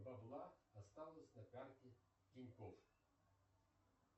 бабла осталось на карте тинькофф